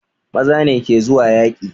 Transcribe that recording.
Maza ne ke zuwa yaƙi